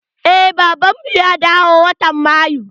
Eh baban mu ya dawo watan mayu.